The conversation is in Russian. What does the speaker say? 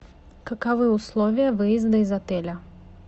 каковы условия выезда из отеля